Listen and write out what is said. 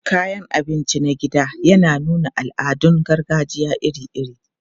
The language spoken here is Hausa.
Kayan abinci na gida yana nuna al'adun gargajiya iri-iri.